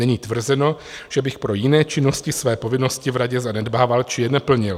Není tvrzeno, že bych pro jiné činnosti své povinnosti v radě zanedbával či je neplnil.